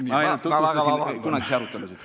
Ma tutvustasin kunagisi arutelusid.